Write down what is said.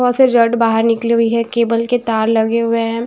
बोहोत से जॉइंट बाहर निकली हुई है केबल के तार लगे हुए हैं।